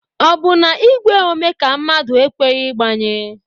Ọ bụ na igwe ome ka mmadụ a ekweghi ịgbanye?